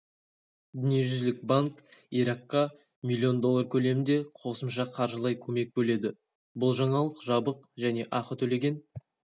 дүниежүзілік банк иракқа миллион доллар көлемінде қосымша қаржылай көмек бөледі бұл жаңалық жабық және ақы төлеген